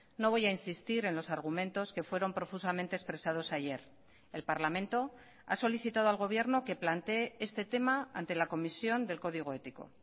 no voy a insistir en los argumentos que fueron profusamente expresados ayer el parlamento ha solicitado al gobierno que plantee este tema ante la comisión del código ético